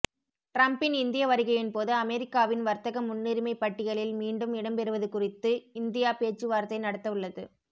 டிரம்பின் இந்திய வருகையின்போது அமெரிக்காவின் வர்த்தக முன்னுரிமை பட்டியலில் மீண்டும் இடம்பெறுவது குறித்து இந்தியா பேச்சுவார்த்தை நடத்த உள்ளது